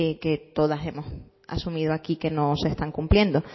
que todas hemos asumido aquí que no se están cumpliendo